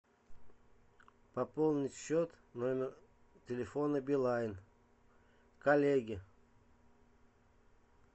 пополнить счет номер телефона билайн коллеге